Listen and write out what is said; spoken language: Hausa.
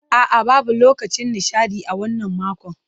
A'a, babu lokacin nishaɗi a wannan makon.